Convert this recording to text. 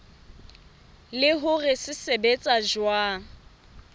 le hore se sebetsa jwang